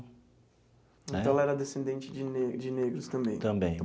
Então ela era descendente de ne de negros também.